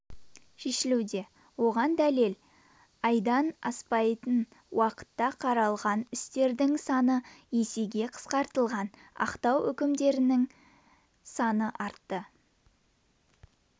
шешілуде оған дәлел айдан аспайтын уақытта қаралған істердің саны есеге қысқартылған ақтау үкімдерінің саны артты